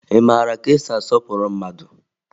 Ị mara ka esi asọpụrụ mmadụ?